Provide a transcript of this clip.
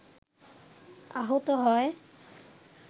আহত হয়